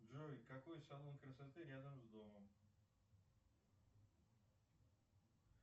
джой какой салон красоты рядом с домом